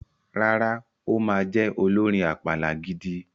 Rárá, ó ma jẹ olórin àpàlà gidi.